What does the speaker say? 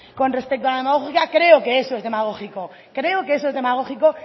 con respecto a la demagogia creo que eso es demagógico